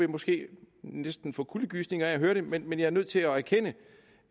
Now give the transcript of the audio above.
måske næsten vil få kuldegysninger af at høre det men men jeg er nødt til at erkende